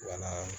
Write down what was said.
Wa na